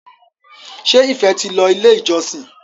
ṣe ìfé tí ló ilé ìjósìn?